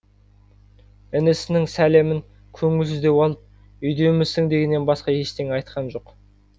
інісінің сәлемін көңілсіздеу алып үйдемісің дегеннен басқа ештеңе айтқан жоқ